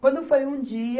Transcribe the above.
Quando foi um dia,